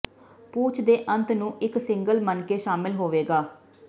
ਪੂਛ ਦੇ ਅੰਤ ਨੂੰ ਇੱਕ ਸਿੰਗਲ ਮਣਕੇ ਸ਼ਾਮਲ ਹੋਵੇਗਾ